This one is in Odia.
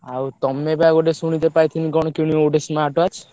ଆଉ ତମେବା ଗୋଟେ ଶୁଣିତେ ପାଇଥିଲି କଣ କିଣିବ ଗୋଟେ smart watch ।